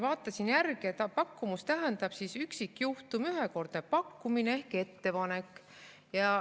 Vaatasin järele, et "pakkumus" tähendab üksikjuhtumit, ühekordset pakkumist ehk ettepanekut.